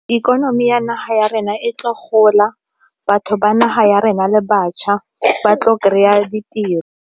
Ikonomi ya naga ya rena e tlo gola, batho ba naga ya rena le bašwa ba tlo kry-a ditiro.